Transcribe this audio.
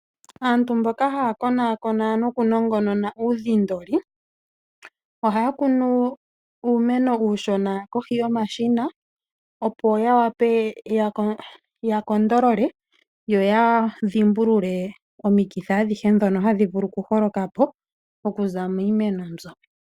Aantu mboka ha ya konakona noku nongonona uudhindoli. Oha ya kunu uumeno uushona kohi yomashina opo ya wape yakonakone, yo ya dhimbulule omikithi dhoka ha dhi holoka miimeno.